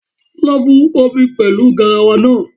Lọ bu omi pẹlu garawa naa